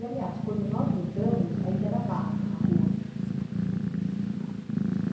E, aliás, quando nós mudamos, ainda era barro a rua.